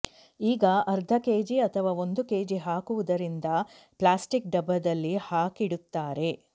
ಈಗ ಅರ್ಧ ಕೆಜಿ ಅಥವಾ ಒಂದು ಕೆಜಿ ಹಾಕುವುದರಿಂದ ಪ್ಲಾಸ್ಟಿಕ್ ಡಬ್ಬದಲ್ಲಿ ಹಾಕಿಡುತ್ತಾರೆ